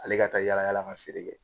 Ale ka taa yalayal ka feere kɛ.